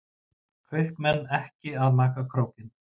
Kaupmenn ekki að maka krókinn